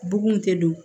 Bugun tɛ don